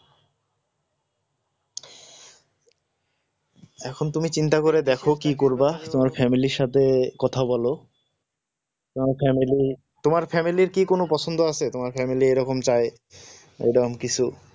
এখন তুমি চিন্তা করে দেখো কি করবা তোমার family র সাথে কথা বল তোমার family তোমার family র কি কোন পছন্দ আছে তোমার family এরকম চাই এরকম কিছু